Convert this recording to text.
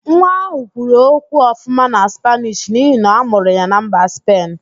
Nwa ahụ kwuru okwu ọfụma na Spaanish n'ihi na-amụrụ ya na mba Spen